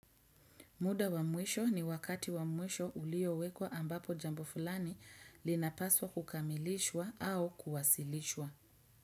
Muda wa mwisho ni wakati wa mwisho ulio wekwa ambapo jambo fulani linapaswa kukamilishwa au kuwasilishwa.